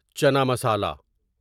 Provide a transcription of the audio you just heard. چنا مسالا